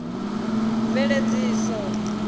mveledziso